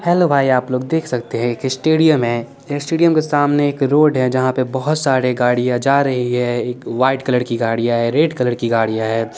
Hello भाई आप लोग देख सकते है की स्टेडयम है स्टेडयम के सामने एक रोड है जहा पे बोहत सारी गाड़िया जा रही है एक वाइट कलर की गाड़िया है एक रेड कलर की गाड़िया है।